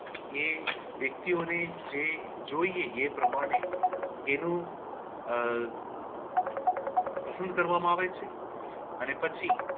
જે વ્યક્તિઓને જે જોઈએ એ પ્રમાણે એનું આહ પસંદ કરવામાં આવે છે અને પછી